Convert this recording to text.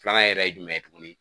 Filanan yɛrɛ ye jumɛn ye tuguni.